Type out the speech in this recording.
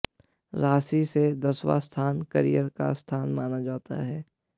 राशि से दसवां स्थान करियर का स्थान माना जाता है